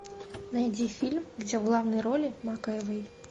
найди фильм где в главной роли макэвой